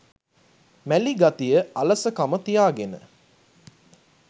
මැලි ගතිය අලසකම තියාගෙන